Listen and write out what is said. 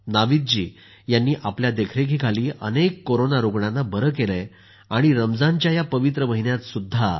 नाविदजी यांनी आपल्या देखरेखीखाली अनेक कोरोना रूग्णांना बरं केलं आहे आणि रमजानच्या या पवित्र महिन्यातही डॉ